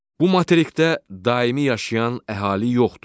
Bu materikdə daimi yaşayan əhali yoxdur.